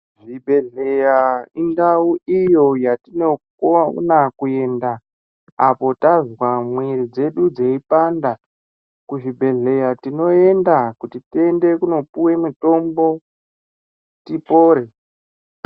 Zvibhedhleya indau iyo yatinokona kuenda apo tazwa mwiiri dzedu dzeipanda. Kuzvibhedhleya tinoenda kuti tiende kunopiwe mitombo, tipore.